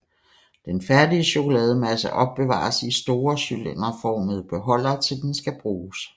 Den færdige chokolademasse opbevares i store cylinderformede beholdere til den skal bruges